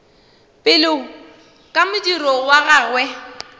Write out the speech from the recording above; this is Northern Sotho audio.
pele ka modiro wa gagwe